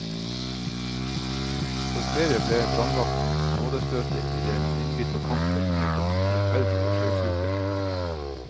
For flere ble brannvakten nådestøtet i den innbitte kampen mot den forferdelige sjøsyken.